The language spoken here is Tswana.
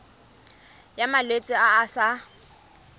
ya malwetse a a sa